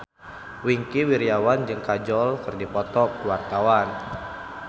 Wingky Wiryawan jeung Kajol keur dipoto ku wartawan